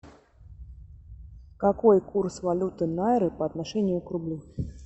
какой курс валюты найры по отношению к рублю